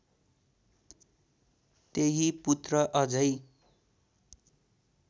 तेही पुत्र अझै